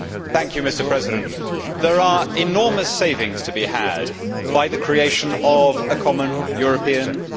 Mr President, there are enormous savings to be had by the creation of a common European grid.